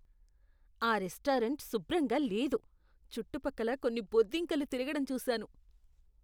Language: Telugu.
ఆ రెస్టారెంట్ శుభ్రంగా లేదు, చుట్టుపక్కల కొన్ని బొద్దింకలు తిరగడం చూశాను.